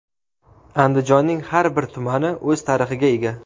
Andijonning har bir tumani o‘z tarixiga ega.